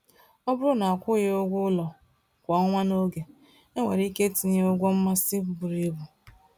Ọ bụrụ na akwụghị ụgwọ ụlọ kwa ọnwa n’oge, enwere ike itinye ụgwọ mmasị buru ibu.